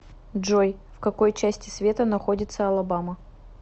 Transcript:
джой в какой части света находится алабама